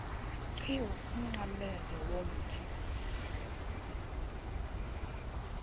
qhiwu umnqamlezo womthi